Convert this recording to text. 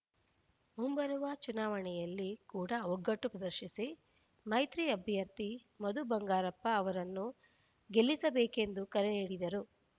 ಮುಂಬರುವ ಚುನಾವಣೆಯಲ್ಲಿ ಕೂಡ ಒಗ್ಗಟ್ಟು ಪ್ರದರ್ಶಿಸಿ ಮೈತ್ರಿ ಅಭ್ಯರ್ಥಿ ಮಧು ಬಂಗಾರಪ್ಪ ಅವರನ್ನು ಗೆಲ್ಲಿಸಬೇಕೆಂದು ಕರೆ ನೀಡಿದರು